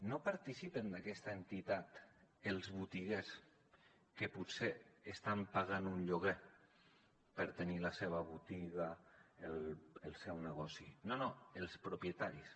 no participen d’aquesta entitat els botiguers que potser estan pagant un lloguer per tenir la seva botiga el seu negoci no no els propietaris